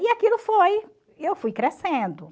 E aquilo foi, eu fui crescendo.